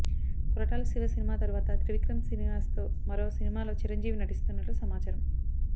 కొరటాల శివసినిమా తరువాత త్రివిక్రమ్ శ్రీనివాస్ తో మరో సినిమా లో చిరంజీవి నటిస్తున్నట్లు సమాచారం